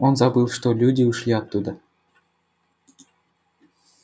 он забыл что люди ушли оттуда